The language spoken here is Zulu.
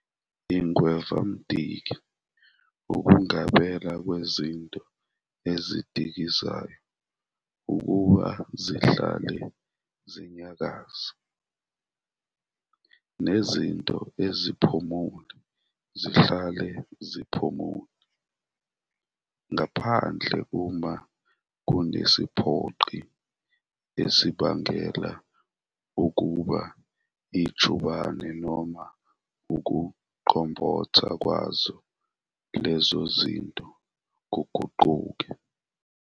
Ingwevamdiki ukungabela kwezinto ezidikizayo ukuba zihlale zinyakaza, nezinto eziphumule zihlale ziphumule, ngaphandle uma kunesiphoqi esibangela ukuba ijubane noma ukuqombotha kwazo lezo zinto kuguquke.